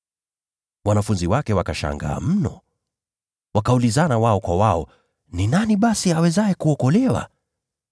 Wanafunzi wake wakashangaa sana. Wakaulizana wao kwa wao, “Ni nani basi awezaye kuokoka?”